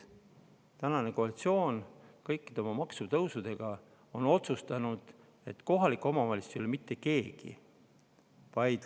Tänane koalitsioon kõikide oma maksutõusudega on otsustanud, et kohalik omavalitsus ei ole mitte keegi.